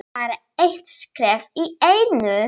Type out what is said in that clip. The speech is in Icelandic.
Bara eitt skref í einu.